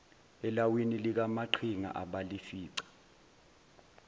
elawini likamaqhinga abalifica